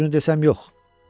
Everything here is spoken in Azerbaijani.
Düzünü desəm, yox.